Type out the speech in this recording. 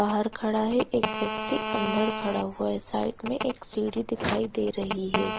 बाहर खड़ा है एक व्यक्ति अंदर खड़ा हुआ है साइड में एक सीढ़ी दिखाई दे रही है।